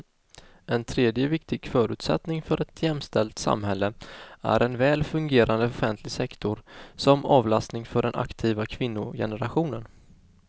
En tredje viktig förutsättning för ett jämställt samhälle är en väl fungerande offentlig sektor som avlastning för den aktiva kvinnogenerationen.